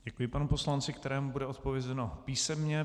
Děkuji panu poslanci, kterému bude odpovězeno písemně.